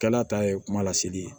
Kɛla ta ye kuma lasigi ye